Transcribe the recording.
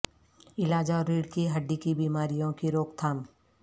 علاج اور ریڑھ کی ہڈی کی بیماریوں کی روک تھام